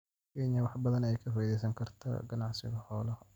Kenya wax badan ayay ka faa�iidaysan kartaa ganacsiga xoolaha.